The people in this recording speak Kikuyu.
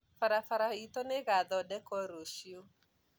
barabara itũ nĩgathondekũo rũciũ